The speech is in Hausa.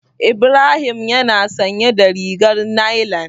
Ibrahim yana sanye da rigar nailan.